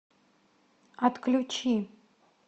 отключи